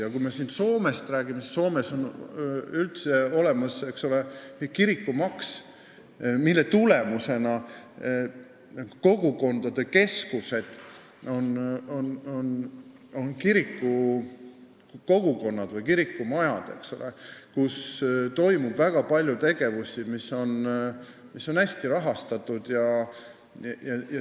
Ja kui Soomest rääkida, siis seal on üldse kirikumaks, mille tulemusena kogukondade keskused on kirikumajad, kus toimub väga palju tegevusi, mis on hästi rahastatud.